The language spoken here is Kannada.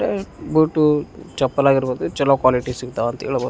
ಆಹ್ಹ್ ಬೂಟು ಚಪ್ಪಲ್ ಆಗಿರ್ಬಹುದು ಚಲೋ ಕ್ವಾಲಿಟಿ ಸಿಗ್ತಾವ್ ಅಂತ ಹೇಳ್ಬಹುದ್.